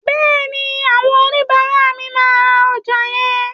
Bẹ́ẹ̀ni, àwọn oníbàárà mi máa ra ọjà yẹn.